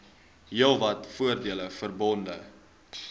heelwat voordele verbonde